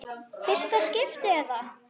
Fyrsta skiptið eða?